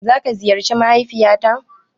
Za ka ziyarci mahaifiya ta?